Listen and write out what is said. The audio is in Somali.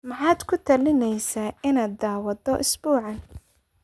Maxaad ku talinaysaa inaan daawado usbuucan?